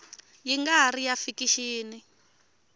ya nga ri ya fikixini